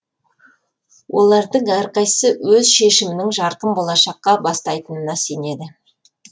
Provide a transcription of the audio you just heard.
олардың әрқайсысы өз шешімінің жарқын болашаққа бастайтынына сенеді